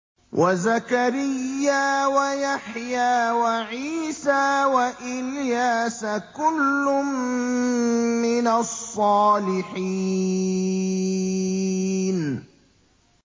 وَزَكَرِيَّا وَيَحْيَىٰ وَعِيسَىٰ وَإِلْيَاسَ ۖ كُلٌّ مِّنَ الصَّالِحِينَ